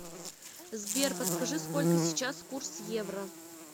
сбер подскажи сколько сейчас курс евро